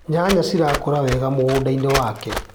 Nyanya cirakuraga wega mũgũndainĩ wake.